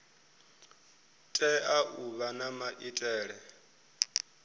tea u vha na maitele